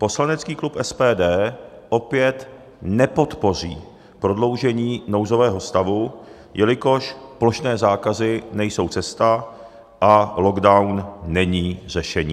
Poslanecký klub SPD opět nepodpoří prodloužení nouzového stavu, jelikož plošné zákazy nejsou cesta a lockdown není řešení.